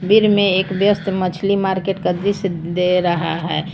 फिर में एक व्यस्त मछली मार्केट का दृश्य दे रहा है।